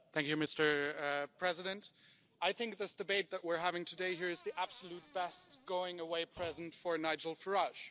Mr President, I think this debate that we're having today here is the absolute best going away present for Nigel Farage.